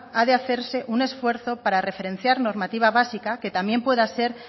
ha de hacerse un esfuerzo para referenciar normativa básica que también pueda ser